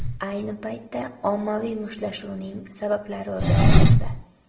Ayni paytda ommaviy mushtlashuvning sabablari o‘rganilmoqda.